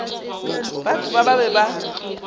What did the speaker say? batho ba ba be ba